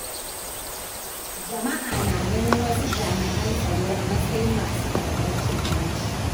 Jama’a na ganin wasu jami’an tsaro a matsayin masu karɓar cin hanci.